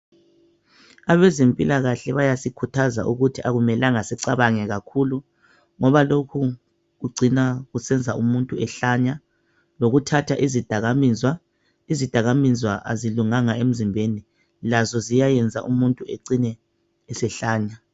Abezimpila kahle bayasikhuthaza ukuthi akumelanga sicabange kakhulu ngoba lokhu kucina kusenza umuntu ehlanya lokuthatha izidakamizwa, izidakamizwa azulunganga emzimbeni lazo ziyayenza umuntu acine esehlanya.